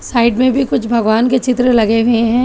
Side में भी कुछ भगवान के चित्र लगे हुए हैं।